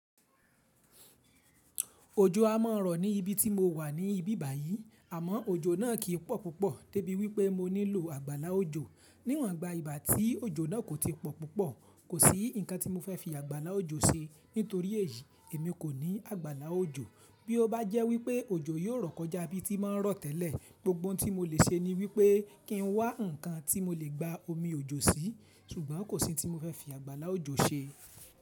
Òjó àmòrò ni ibi tí mo wà ní ìbì ba yìí àmó òjó náà kì pò púpò débi pé mo nílò ágbálà òjó níwọ̀n gba ìgbà tí òjò náà kò ti pọ̀ púpọ̀, kò sí nǹkan tí mo fẹ́ fi àgbàlá òjò ṣe. Nítorí èyí, èmi kò ní àgbàlá òjò. Bí ó bá jẹ́ wípé òjò yíó rọ̀ kọjá ibi tí máa rọ̀ tẹ́lẹ̀, gbogbo ohun tí mo lè ṣe ni wípé kí n wá ǹkan tí mo lè gba omi òjò sí, ṣùgbọ́n kò sí tí mo fẹ́ fi àgbàlá òjò ṣe.